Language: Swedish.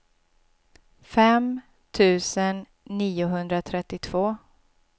fem tusen niohundratrettiotvå